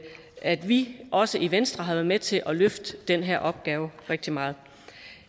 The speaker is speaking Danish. at vi også i venstre har været med til at løfte den her opgave rigtig meget